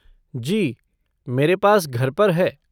जी, मेरे पास घर पर है।